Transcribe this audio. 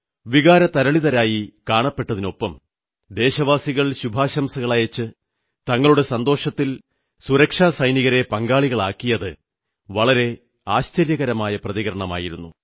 വികാരതരളിതരായി കാണപ്പെട്ടതിനൊപ്പം ദേശവാസികൾ ശുഭാശംസകളയച്ച് തങ്ങളുടെ സന്തോഷത്തിൽ സുരക്ഷാ സൈനികരെ പങ്കാളികളാക്കിയത് വളരെ ആശ്ചര്യകരമായ പ്രതികരണമായിരുന്നു